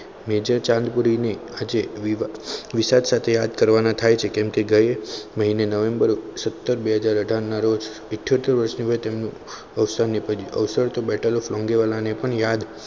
major Chandpuri ની હજી વિષય સાથે યાદ કરવાના થાય છે કે કેમ કે ગયા મહિને નવેમ્બર સત્તર બે હાજર અઢાર ના રોજ ઈથ્યોતેર વર્ષની વયે તેમનું અવસાન નીપજ્યું અવસાન battel of લોન્ગેવાલાને પણ યાદ